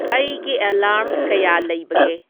ꯑꯩꯒꯤ ꯑꯦꯂꯥꯔ꯭ꯝ ꯀꯌꯥ ꯂꯩꯕꯒꯦ